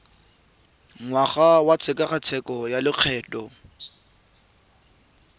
ngwaga wa tshekatsheko ya lokgetho